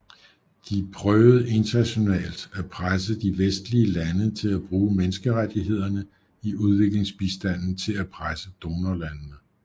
De prøvede internationalt at presse de vestlige lande til at bruge menneskerettighederne i udviklingsbistanden til at presse donorlandene